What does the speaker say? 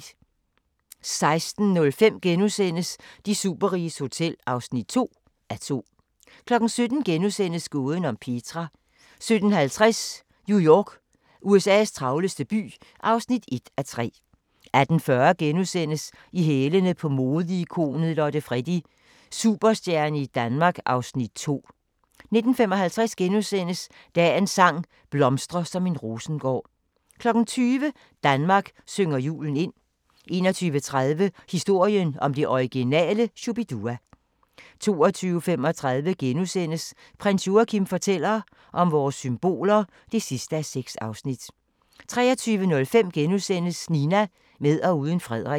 16:05: De superriges hotel (2:2)* 17:00: Gåden om Petra * 17:50: New York - USA's travleste by (1:3) 18:40: Uropatruljen – politiets hårde hunde (3:3)* 19:10: I hælene på modeikonet Lotte Freddie: Superstjerne i Danmark (Afs. 2)* 19:55: Dagens sang: Blomstre som en rosengård * 20:00: Danmark synger julen ind 21:30: Historien om det originale Shu-Bi-Dua 22:35: Prins Joachim fortæller om vores symboler (6:6)* 23:05: Nina – med og uden Frederik *